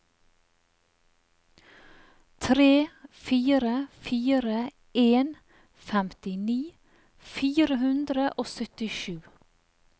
tre fire fire en femtini fire hundre og syttisju